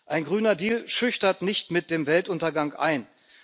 Ein Grüner Deal schüchtert nicht mit dem Weltuntergang ein.